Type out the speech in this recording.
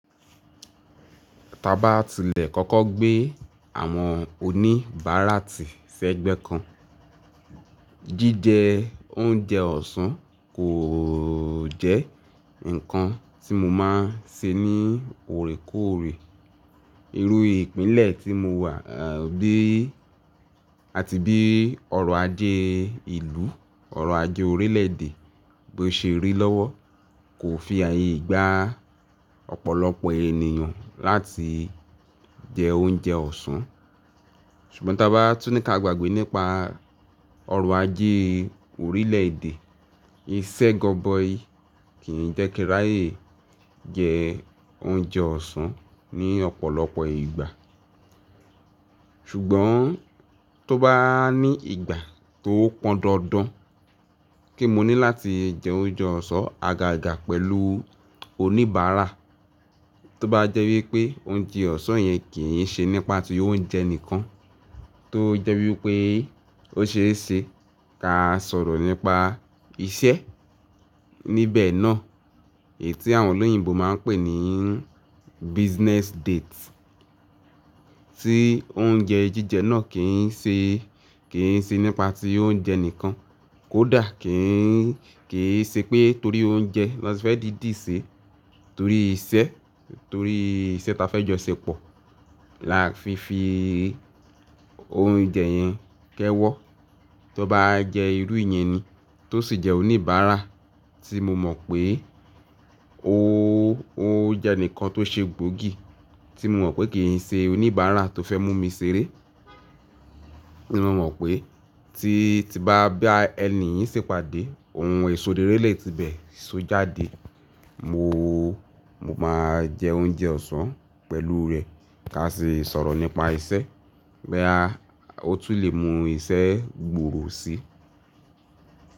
Tí a bá tilẹ̀ kọ́kọ́ gbé àwọn oníbàárà tí sẹ́ gbẹ́ kan, jíjẹ oúnjẹ ọ̀sán kò jẹ́ nǹkan tí mo máa ń ṣe ní òrékóòrè. Irú ìpínlẹ̀ tí mo wà, àbí àti bí ọrọ̀ ajé ìlú, ọrọ̀ ajé orílẹ̀èdè bí ó ṣe rí lọ́wọ́ kò fi ààyè gbá ọ̀pọ̀lọpọ̀ ènìyàn láti jẹ oúnjẹ ọ̀sán. Ṣùgbọ́n tí a bá tún ní ká gbàgbé nípa ọrọ̀ ajé orílẹ̀èdè, iṣẹ́ gọbọi kì í jẹ́ kíráyè jẹ oúnjẹ ọ̀sán ní ọ̀pọ̀lọpọ̀ ìgbà. Ṣùgbọ́n tó bá ní ìgbà tó pọn dandan kí mo ní láti jẹ oúnjẹ ọ̀sán àgàgà pẹ̀lú oníbàárà, tó bá jẹ́ wípé oúnjẹ ọ̀sán yẹn kì í ṣe nípa ti oúnjẹ nìkan, tó jẹ́ wípé ó ṣe é ṣe ká sọ̀rọ̀ nípa iṣẹ́ níbẹ̀ náà, èyí tí àwọn olóyìnbo máa ń pè ní business date. Tí oúnjẹ jíjẹ náà kì í ṣe, kì í ṣe nípa ti oúnjẹ nìkan, kódà kì í, kì í ṣe pé torí oúnjẹ la fẹ́ dìdí sè, torí iṣẹ́, torí iṣẹ́ ta fẹ́ jọ ṣepọ̀ la fi fi oúnjẹ yẹn kẹ́wọ́. Tó bá jẹ́ irú ìyẹn ni tó sì jẹ́ oníbàárà tí mo mọ̀ pé ó, ó jẹ́ ǹkan tó ṣe gbòógì, tí mo mọ̀ pé kì í ṣe oníbàárà tó fẹ́ mú mi ṣeré, tí mo mọ̀ pé tí, tí bá bá ẹni yìí ṣèpàdé, ohun ìsodírélè ti bẹ̀, so jáde. Mo, mo máa jẹ oúnjẹ ọ̀sán pẹ̀lú rẹ̀ ká sì sọ̀rọ̀ nípa iṣẹ́, bí a, ó tún lè mú iṣẹ́ gbòòrò si.